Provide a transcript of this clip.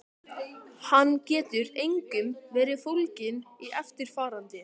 Hann getur einkum verið fólginn í eftirfarandi